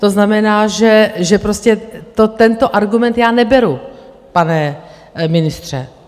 To znamená, že prostě tento argument já neberu, pane ministře.